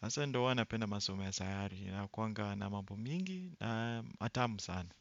hasa ndo huwa napenda masomo ya sayari inakuanga na mambo mingi na atamu sana.